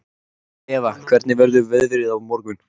Eva, hvernig verður veðrið á morgun?